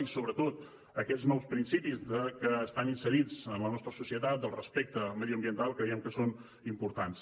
i sobretot aquests nous principis que estan inserits en la nostra societat del respecte mediambiental creiem que són importants